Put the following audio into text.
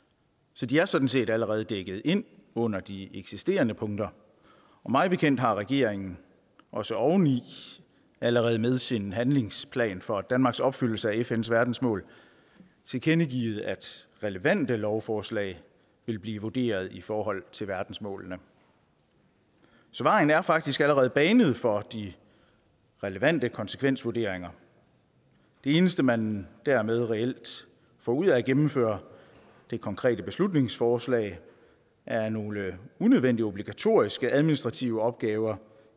så de er sådan set allerede dækket ind under de eksisterende punkter mig bekendt har regeringen også oveni allerede med sin handlingsplan for danmarks opfyldelse af fns verdensmål tilkendegivet at relevante lovforslag vil blive vurderet i forhold til verdensmålene så vejen er faktisk allerede banet for de relevante konsekvensvurderinger det eneste man dermed reelt får ud af at gennemføre det konkrete beslutningsforslag er nogle unødvendige obligatoriske administrative opgaver